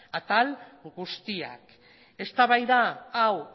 atal guztiak eztabaida hau